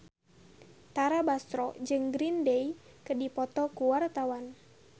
Tara Basro jeung Green Day keur dipoto ku wartawan